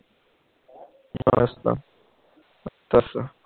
ਅੱਛਾ ਅੱਛਾ ਅੱਛਾ